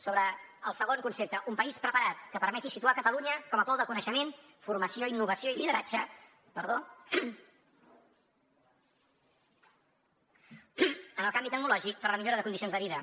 sobre el segon concepte un país preparat que permeti situar catalunya com a pol de coneixement formació innovació i lideratge en el canvi tecnològic per a la millora de condicions de vida